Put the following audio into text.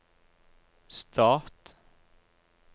stat